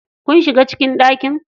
Kun shiga cikin ɗakin?